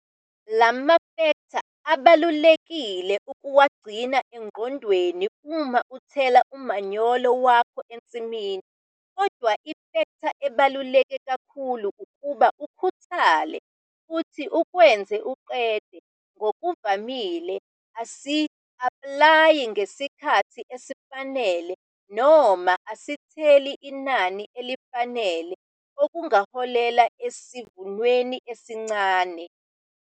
La mafektha kubalulekile ukuwagcina engqondweni uma uthela umanyolo wakho ensimini. Kodwa ifektha ebaluleke kakhulu ukuba ukhuthale futhi ukwenze uqede! Ngokuvamile, asi-aplayi ngesikhathi esifanele noma asitheli inani elifanele okungaholela esivunweni esincani.